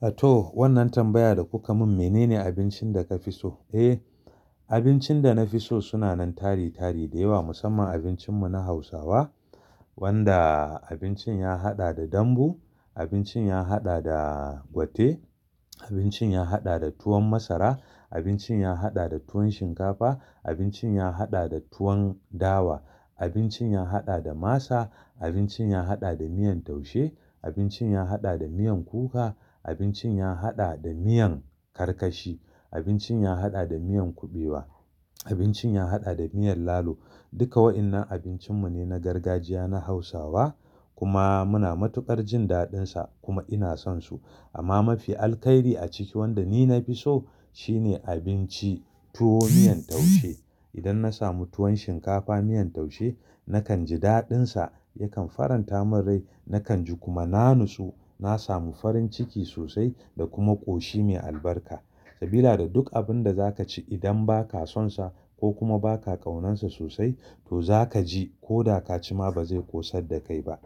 A to wannan tambaya da kuka mun menene abincin da ka fi so? Eh abincin da na fi so suna nan tari tari da yawa musamman abincin mu na Hausawa wanda abincin ya haɗa da dambu, abincin ya haɗa da gwate, abincin ya haɗa da tuwon masara, abincin ya haɗa da tuwon shinkafa, abincin ya haɗa da tuwon dawa, abincin ya haɗa da masa, abincin ya haɗa da miyan taushe, abincin ya haɗa da miyan kuka, abincin ya haɗa da miyan karkashi, abincin ya haɗa da miyan kuɓewa, abincin ya haɗa da miyan lalo. Duka waɗannan abincin mu ne na gargajiya na Hausawa kuma muna matuƙar jin daɗin sa kuma ina son su. Amma mafi Alkhairi a cikin waɗanda ni na fi so shine abinci tuwo miyan taushe. Idan na samu tuwon shinkafa miyan taushe nakan ji daɗin sa yakan faranta mun rai nakan ji kuma na natsu. Na samu farin ciki sosai da kuma ƙoshi mai albarka. Sabila da duk abin da za ka ci idan ba ka son sa ko kuma ba ka ƙaunon sa sosai to za ka ji koda ka ci ma ba zai ƙosar da kai ba.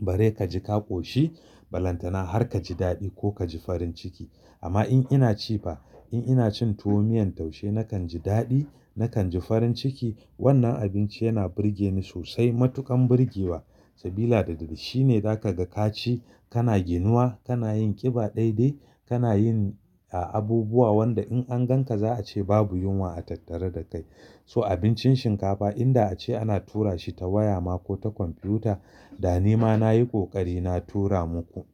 Bari ka ji ka ƙoshi, balantana har ka ji daɗi ko ka ji farin ciki. Amma in ina ci fa, in ina cin tuwo miyan taushe nakan ji daɗi, nakan ji farin ciki. Wannan abinci yana burge ni sosai matuƙan burge wa. Sabila da shine za ka ga ka ci, kana ginuwa, kana yin ƙiba dai dai, kana yin a-abubuwa wanda in an gan ka za a ce babu yunwa a tattare da kai. So abincin shinkafa inda a ce ana tura shi ta waya ma ko ta kwamfiyuta da ni ma nayi ƙoƙari na tura muku.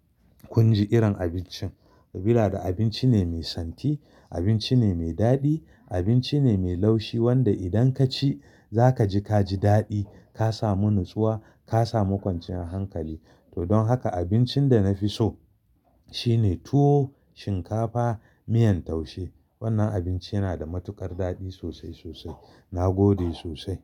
Kun ji irin abincin. Sabila da abinci ne mai santi, abinci ne mai daɗi, abinci ne mai laushi wanda idan ka ci za ka ji ka ji daɗi. Ka samu natsuwa, ka samu kwanciyar hankali. To don haka abincin da na fi so shine tuwo shinkafa miyan taushe. Wannan abinci yana da matuƙar daɗi sosai sosai. Na gode sosai.